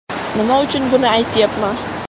Nima uchun buni aytyapman?